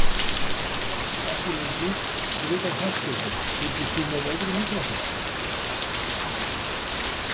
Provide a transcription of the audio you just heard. Ekki lengi Fyrir utan knattspyrnu, fylgist þú með öðrum íþróttum?